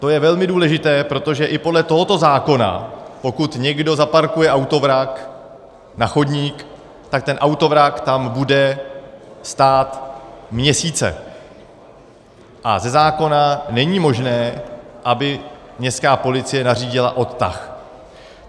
To je velmi důležité, protože i podle tohoto zákona, pokud někdo zaparkuje autovrak na chodník, tak ten autovrak tam bude stát měsíce a ze zákona není možné, aby městská policie nařídila odtah.